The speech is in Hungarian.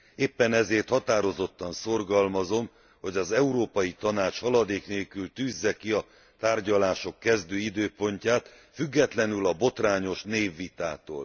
Éppen ezért határozottan szorgalmazom, hogy az Európai Tanács haladék nélkül tűzze ki a tárgyalások kezdő időpontját, függetlenül a botrányos névvitától.